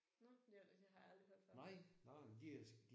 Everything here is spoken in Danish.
Nåh men det det har jeg aldrig hørt før